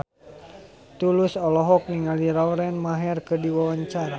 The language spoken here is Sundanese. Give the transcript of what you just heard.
Tulus olohok ningali Lauren Maher keur diwawancara